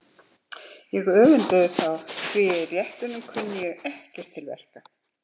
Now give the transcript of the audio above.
Ég öfundaði þá því að í réttunum kunni ég ekkert til verka.